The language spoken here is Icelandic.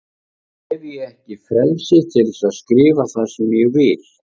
Hef ég ekki frelsi til að skrifa það sem ég vil?